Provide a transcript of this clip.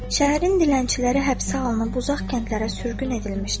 Şəhərin dilənçiləri həbsə alınıb uzaq kəndlərə sürgün edilmişdi.